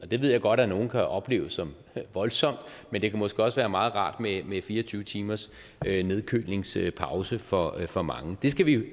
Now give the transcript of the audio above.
det ved jeg godt nogen kan opleve som voldsomt men det kan måske også være meget rart med fire og tyve timers nedkølingspause for for mange det skal vi